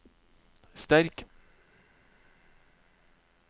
sterk